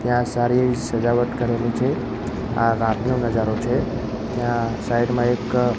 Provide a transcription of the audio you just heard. ત્યાં સારી સજાવટ કરેલી છે આ રાતનો નજારો છે ત્યાં સાઇડ માં એક--